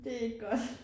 Det ikke godt